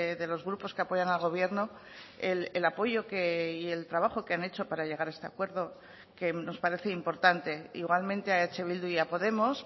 de los grupos que apoyan al gobierno el apoyo y el trabajo que han hecho para llegar a este acuerdo que nos parece importante igualmente a eh bildu y a podemos